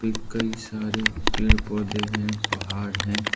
कई सारे पेड़ पौधे हैं पहाड़ हैं।